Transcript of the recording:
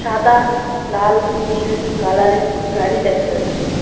সাদা লাল নীল কালারের গাড়ি দেখা যাচ্ছে।